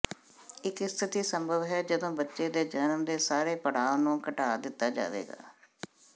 ਇੱਕ ਸਥਿਤੀ ਸੰਭਵ ਹੈ ਜਦੋਂ ਬੱਚੇ ਦੇ ਜਨਮ ਦੇ ਸਾਰੇ ਪੜਾਅ ਨੂੰ ਘਟਾ ਦਿੱਤਾ ਜਾਵੇਗਾ